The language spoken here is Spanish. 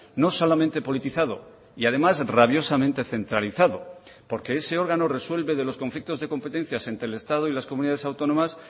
no solamente politizado y además rabiosamente centralizado porque ese órgano resuelve de los conflictos de competencias entre el estado y las comunidades autónomas